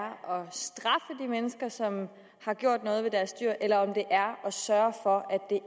at mennesker som har gjort noget ved deres dyr eller om det er at sørge for at